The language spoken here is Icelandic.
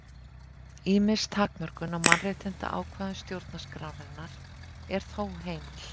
Ýmis takmörkun á mannréttindaákvæðum stjórnarskrárinnar er þó heimil.